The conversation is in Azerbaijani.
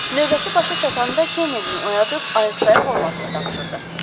Növbəsi başa çatanda Kennedini oyadıb ayaqsayaq olmasını tapşırdı.